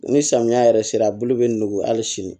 Ni samiya yɛrɛ sera a bulu be nugu hali sini